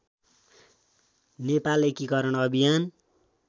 नेपाल एकिकरण अभियान